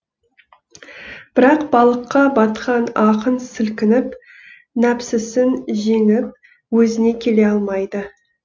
бірақ балыққа батқан ақын сілкініп нәпсісін жеңіп өзіне келе алмайды